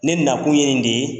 Ne nakun yen de